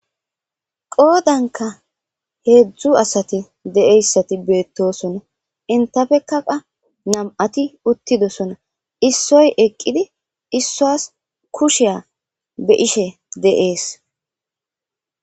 Qoodankka heezzu asati de7iyayssati betosona. Enttappekka qa nam7ati uttidosona. Issoy eqidi issuwas kushiya be7ishshe de7es.